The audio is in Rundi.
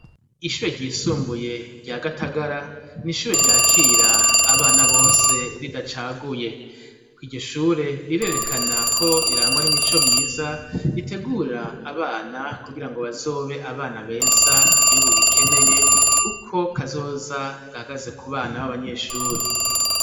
Ishure ryisumbuye rya gatagara n'ishure ryakira abana bose ridacaguye ku iryishure rirerekana ko rirangwa n'imico myiza ritegura abana kugira ngo bazobe abana beza igihugu gikeneye, kuko kazoza gagaze ku bana b'abanyeshure.